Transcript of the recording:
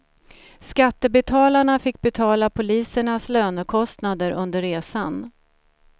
Skattebetalarna fick betala polisernas lönekostnader under resan.